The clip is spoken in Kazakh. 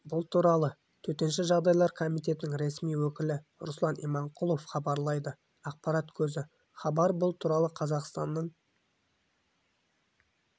бұл туралы төтенше жағдайлар комитетінің ресми өкілі руслан иманқұлов хабарлайды ақпарат көзі хабар бұл туралы қазақстанның